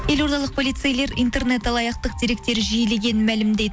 елордалық полицейлер интернет алаяқтық деректер жиілегенін мәлімдейді